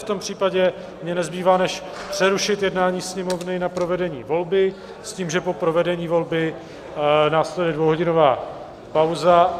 V tom případě mně nezbývá než přerušit jednání Sněmovny na provedení volby s tím, že po provedení volby následuje dvouhodinová pauza.